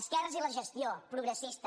esquerres i la gestió progressista